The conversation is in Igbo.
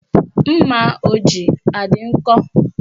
Mma o ji adị nkọ?